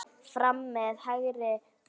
Fram með hægri fót.